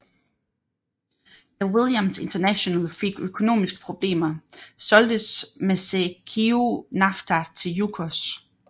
Da Williams International fik økonomiske problemer solgtes Mazeikiu Nafta til Yukos